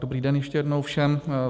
Dobrý den ještě jednou všem.